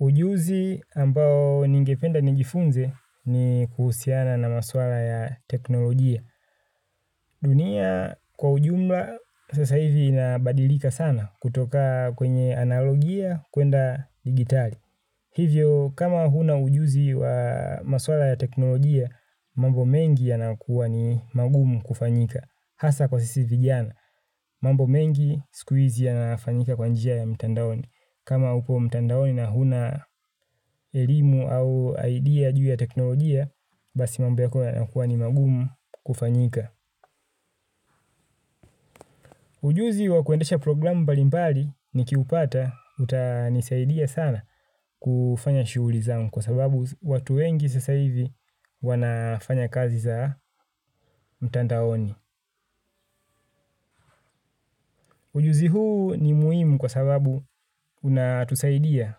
Ujuzi ambao ningependa nijifunze ni kuhusiana na maswala ya teknolojia. Dunia kwa ujumla sasa hivi inabadilika sana kutoka kwenye analogia kuenda digitali. Hivyo kama huna ujuzi wa maswala ya teknolojia, mambo mengi yanakuwa ni magumu kufanyika. Hasa kwa sisi vijana. Mambo mengi, sikuizi yanafanyika kwa njia ya mitandaoni. Kama upo mtandaoni na huna elimu au idea juu ya teknolojia basi mambo yako yanakuwa ni magumu kufanyika. Ujuzi wa kuendesha programu mbalimbali nikiupata utanisaidia sana kufanya shughuli zangu kwa sababu watu wengi sasa hivi wanafanya kazi za mtandaoni. Ujuzi huu ni muhimu kwa sababu unatusaidia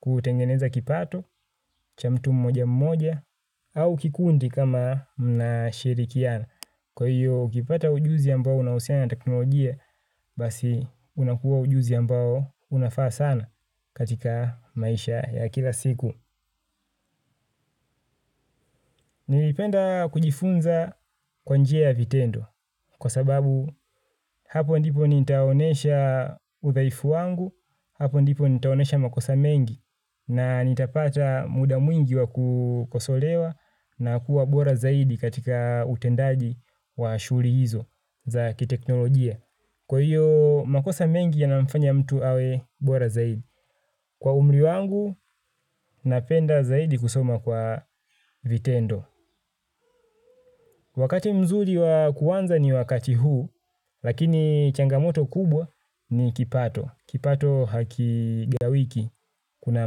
kutengeneza kipato cha mtu mmoja mmoja, au kikundi kama mna shirikiana. Kwa hiyo, ukipata ujuzi ambao unahusiana na teknolojia, basi unakuwa ujuzi ambao unafaa sana katika maisha ya kila siku. Nilipenda kujifunza kwa njia ya vitendo. Kwa sababu, hapo ndipo nitaonesha udhaifu wangu, hapo ndipo nitaonesha makosa mengi, na nitapata muda mwingi wa kukosolewa, na kuwa bora zaidi katika utendaji wa shuhuri hizo za kiteknolojia kwa hiyo makosa mengi ya nafanya mtu awe bora zaidi. Kwa umri wangu napenda zaidi kusoma kwa vitendo. Wakati mzuri wa kuanza ni wakati huu. Lakini changamoto kubwa ni kipato. Kipato hakigawiki. Kuna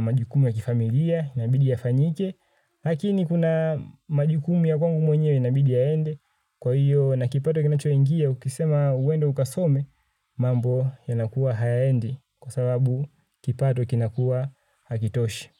majukumu ya kifamilia inabidi yafanyike. Lakini kuna majukumu ya kwangu mwenyewe inabidi aende kwa hiyo na kipato kinacho ingia ukisema uende ukasome mambo yanakuwa hayaendi kwa sababu kipato kinakuwa hakitoshi.